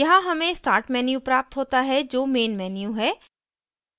यहाँ main start menu प्राप्त होता है जो main menu है